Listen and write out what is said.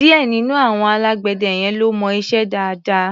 Díẹ̀ nínú àwọn alágbẹ̀dẹ yẹn ló mọ iṣẹ́ dáadáa.